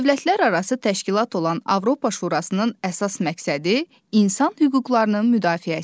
Dövlətlərarası təşkilat olan Avropa Şurasının əsas məqsədi insan hüquqlarının müdafiəsidir.